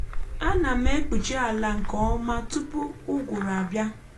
ánà m ekpuchị àlà nkè ọma tụpụ ụgụrụ abịa